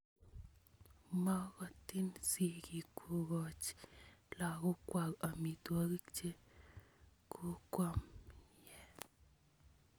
Mogotin sigik kokoch lagokwai amitwogik che kumkum ye h